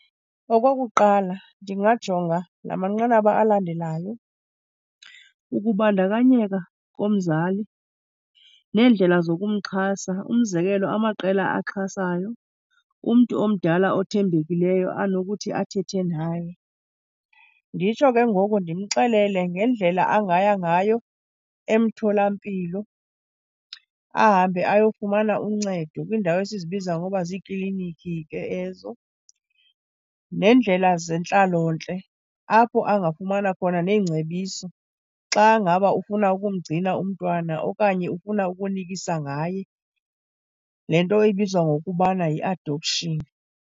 Okokuqala, ndingajonga la manqanaba alandelayo, ukubandakanyeka komzali neendlela zokumxhasa, umzekelo, amaqela axhasayo, umntu omdala othembekileyo anokuthi athethe naye. Nditsho ke ngoku ndimxelele ngendlela angaya ngayo emtholampilo. Ahambe ayofumana uncedo kwiindawo esizibiza ngoba ziiklinikhi ke ezo, neendlela zentlalontle apho angafumana khona neengcebiso xa ngaba ufuna ukumgcina umntwana okanye ufuna ukunikisa ngaye, le nto ebizwa ngokubana yi-adoption.